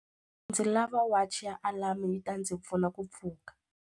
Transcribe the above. Ndzi lava wachi ya alamu yi ta ndzi pfuna ku pfuka.